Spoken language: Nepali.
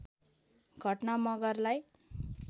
घटना मगरलाई